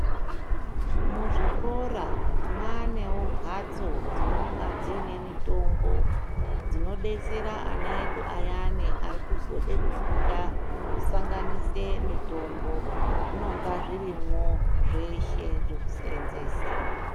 Muzvikora mwaanewo mbatso dzinonga dziine mitombo dzinodetsera ana edu ayani arikuzode kufunda kusanganise mitombo. Zvinonga zvirimwo zveshe zvekusenzesa.